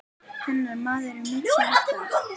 Hennar maður er Michael Dal.